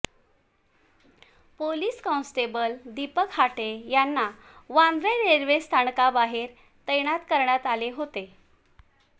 police constable Deepak Hate यांना वांद्रे रेल्वेस्थानकाबाहेर तैनात करण्यात आले होते